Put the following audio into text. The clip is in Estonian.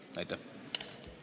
Aitäh!